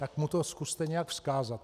Tak mu to zkuste nějak vzkázat.